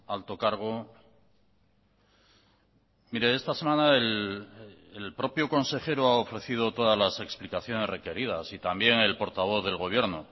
alto cargo mire esta semana el propio consejero ha ofrecido todas las explicaciones requeridas y también el portavoz del gobierno